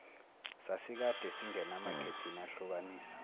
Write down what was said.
sasikade singenamakhethini ahlukanisa